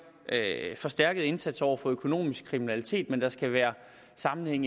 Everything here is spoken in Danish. forstærket indsats over for økonomisk kriminalitet men der skal være sammenhæng